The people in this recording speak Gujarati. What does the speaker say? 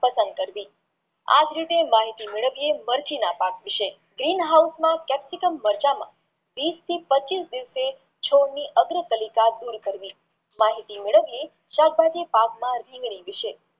પસંદ કરવી આજ રીતે માહિતી મેલ્વીએ મરઘીના પાક વિષે capsim મરચાંના વિષ થી પચીશ છોડની અગરપરિતા દૂર કરાવી માહિતી મેળવીયે